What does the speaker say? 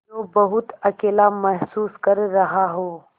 जो बहुत अकेला महसूस कर रहा हो